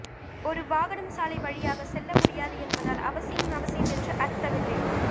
ஒரு வாகனம் சாலை வழியாக செல்லமுடியாது என்பதால் அவசியம் அவசியம் என்று அர்த்தமில்லை